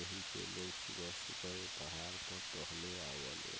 एही से लोग सुबह-सुबह ऐ पहाड़ पर टहले आवाले।